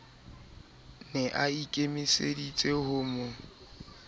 ne a ikemeseditse ho mo